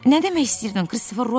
Nə demək istəyirdin, Kristofer Robin?